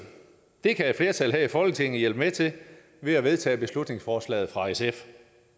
det kan et flertal her i folketinget hjælpe med til ved at vedtage beslutningsforslaget fra sf